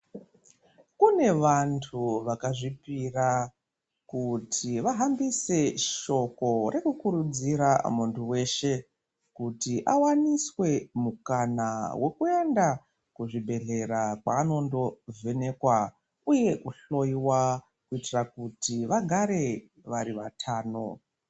Kune vantu vakazvipira kuti vahambise shoko rekukurudzira muntu weshe kuti awaniswe mukana wekuenda kuzvibhedhlera kwaanondovhenekwa uye kuhloyiwa kuitira kuti vagare vari vatano.